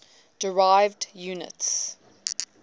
derived units